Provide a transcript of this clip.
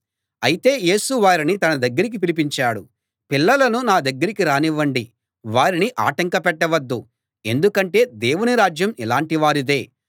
అయితే యేసు వారిని తన దగ్గరికి పిలిపించాడు పిల్లలను నా దగ్గరికి రానివ్వండి వారిని ఆటంకపెట్టవద్దు ఎందుకంటే దేవుని రాజ్యం ఇలాటి వారిదే